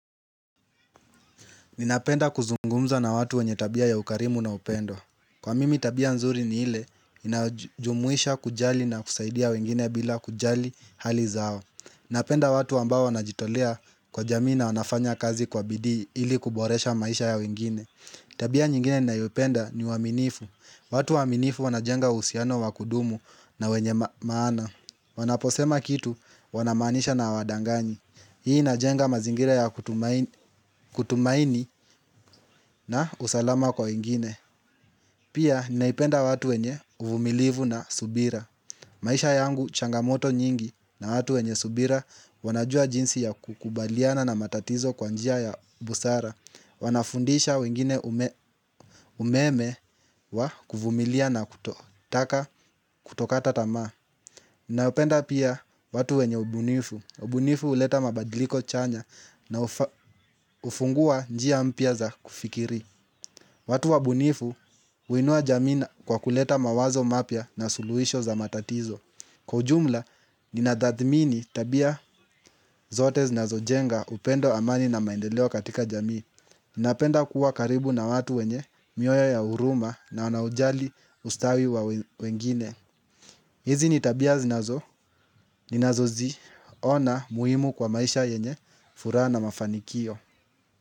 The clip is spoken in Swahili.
Ninapenda kuzungumza na watu wenye tabia ya ukarimu na upendo. Kwa mimi tabia nzuri ni ile, inayojumuisha kujali na kusaidia wengine bila kujali hali zao. Napenda watu ambao wanajitolea kwa jamii na wanafanya kazi kwa bidii ili kuboresha maisha ya wengine. Tabia nyingine ni nayopenda ni waminifu. Watu waminifu wanajenga uhusiano wakudumu na wenye maana. Wanaposema kitu wanamaanisha na wadanganyi. Hii inajenga mazingira ya kutumaini na usalama kwa wengine Pia naipenda watu wenye uvumilivu na subira maisha yangu changamoto nyingi na watu wenye subira wanajua jinsi ya kukubaliana na matatizo kwa njia ya busara Wanafundisha wengine umeme wa kuvumilia na kuto katokata tama Nawapenda pia watu wenye ubunifu ubunifu huleta mabadiliko chanya na ufungua njia mpya za kufikiri watu wa bunifu uinua jamii na kwa kuleta mawazo mapya na suluhisho za matatizo Kwa ujumla, ninatathhmini tabia zote zinazojenga upendo amani na maendeleo katika jamii Ninapenda kuwa karibu na watu wenye mioyo ya huruma na wanaojali ustawi wa wengine hizi ni tabia zinazo, ninazo ziona muhimu kwa maisha yenye furaha na mafanikio.